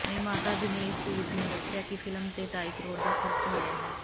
ਨਿਰਮਾਤਾ ਦਿਨੇਸ਼ ਸੂਦ ਨੇ ਦੱਸਿਆ ਕਿ ਫਿਲਮ ਤੇ ਢਾਈ ਕਰੋੜ ਦਾ ਖਰਚ ਹੋਇਆ ਹੈ